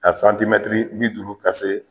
A santimɛtiri bi duuru ka se